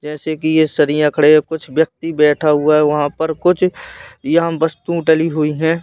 जैसे कि ये सभी खड़े कुछ व्यक्ति बैठा हुआ है वहां पर कुछ यहां वस्तु डली हुई हैं।